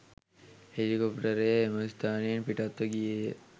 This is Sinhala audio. හෙලිකොප්ටරය එම ස්ථානයෙන් පිටත්ව ගියේය.